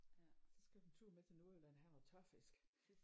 Så skal du en tur med til Nordjylland og have noget tørfisk